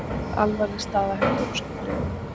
Alvarleg staða hjá dönskum liðum